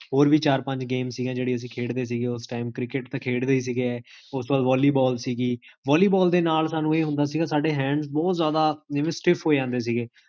ਹੋਰ ਵੀ ਚਾਰ ਪੰਜ games ਸੀਗੀਆਂ ਜੇਹੜੀਆਂ ਅਸੀ ਖੇਡਦੇ ਸੀ ਓਸ time ਕ੍ਰਿਕੇਟ ਤਾਂ ਖੇਡਦੇ ਹੀ ਸੀਗੇਓਸ ਤੋ ਬਾਦ volleyball ਸੀਗੀ volleyball ਦੇ ਨਾਲ ਸਾਨੂ ਇਹ ਹੁੰਡ ਸੀਗਾ ਸਾਡੇ hands ਬੋਹੋਤ ਜਾਦਾ ਜਿਵੇਂ stiff ਹੋਜਾਂਦੇ ਸੀਗੇ